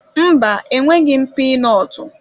Mba, enweghị m pinotu.